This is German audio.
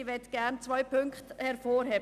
Ich möchte gern zwei Punkte hervorheben: